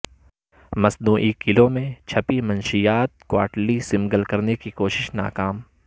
مصنوعی کیلوں میں چھپی منشیات کواٹلی سمگل کرنےکی کوشش ناکام